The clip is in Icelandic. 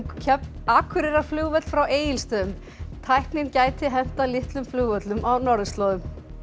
Akureyrarflugvöll frá Egilsstöðum tæknin gæti hentað litlum flugvöllum á norðurslóðum